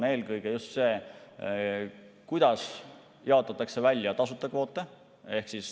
Eelkõige just see, kuidas jaotatakse tasuta kvoote.